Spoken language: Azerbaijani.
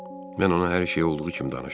Mən ona hər şeyi olduğu kimi danışdım.